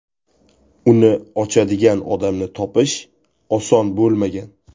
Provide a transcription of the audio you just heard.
Uni ochadigan odamni topish oson bo‘lmagan.